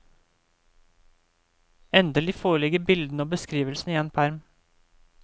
Endelig foreligger bildene og beskrivelsene i en perm.